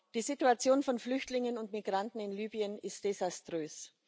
Die Situation von Flüchtlingen und Migranten in Libyen ist desaströs.